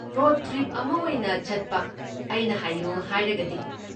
Road trip ꯑꯃ ꯑꯣꯏꯅ ꯆꯠꯄ, ꯑꯩꯅ ꯍꯥꯏꯌꯨ ꯍꯥꯏꯔꯒꯗꯤ꯫